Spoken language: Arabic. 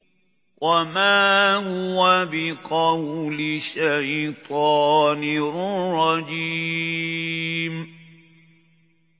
وَمَا هُوَ بِقَوْلِ شَيْطَانٍ رَّجِيمٍ